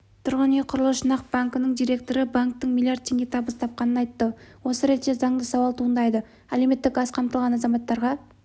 тұрғын үй құрылыс жинақ банкінің директоры банктің млрд теңге табыс тапқанын айтты осы ретте заңды сауал туындайды әлеуметтік аз қамтылған азаматтарға